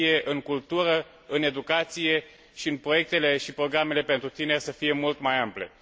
în cultură, în educație și în proiectele și programele pentru tineri să fie mult mai ample.